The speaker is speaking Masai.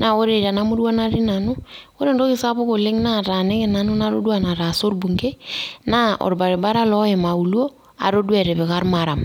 naa ore tena murua natii nanu ore entoki sapuk naataniki nanu natoduaa nataasa orbungei naa orbaribara loim auluo atoduaa etipika ormaram